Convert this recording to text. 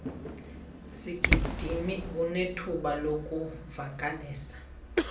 sigidimi unethuba lokuvakalisa